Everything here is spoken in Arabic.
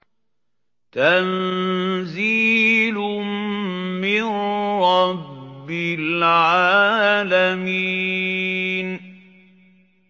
تَنزِيلٌ مِّن رَّبِّ الْعَالَمِينَ